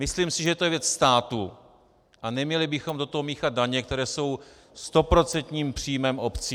Myslím si, že to je věc státu a neměli bychom do toho míchat daně, které jsou stoprocentním příjmem obcí.